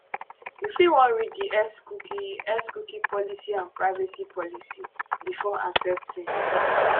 you fit wan read di xcookie xcookie policyandprivacy policybefore accepting